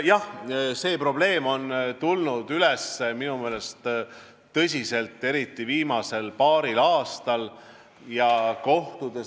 Jah, see probleem on tulnud minu meelest tõsiselt esile eriti viimasel paaril aastal.